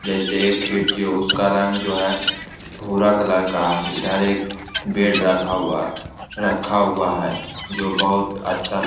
जैसे एक खिड़की है उसका रंग जो है भूरा कलर का है इधर एक बेड रखा हुआ रखा हुआ है जो बहुत अच्छा ल --